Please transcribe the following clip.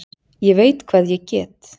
Ég veit hvað ég get.